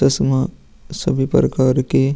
सभी प्रकार के --